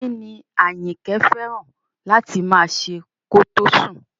Kí ni Àyìnkẹ́ fẹ́ràn láti máa ṣe kó tó sùn?